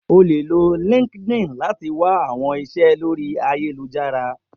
O le lo LinkedIn lati wa awọn iṣẹ lori ayelujara.